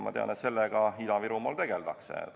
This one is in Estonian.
Ma tean, et sellega Ida-Virumaal tegeldakse.